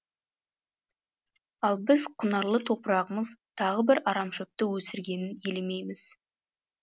ал біз құнарлы топырағымыз тағы бір арамшөпті өсіргенін елемейміз